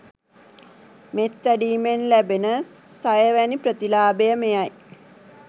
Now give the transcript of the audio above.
මෙත් වැඩීමෙන් ලැබෙන සයවැනි ප්‍රතිලාභය මෙයයි.